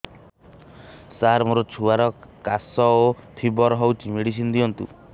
ସାର ମୋର ଛୁଆର ଖାସ ଓ ଫିବର ହଉଚି ମେଡିସିନ ଦିଅନ୍ତୁ